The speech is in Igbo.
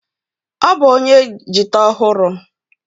Ọ bụ onye jita ọhụrụ.